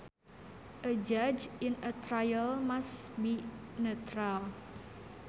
A judge in a trial must be neutral